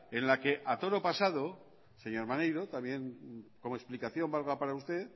en la que a toro pasado señor maneiro también como explicación valga para usted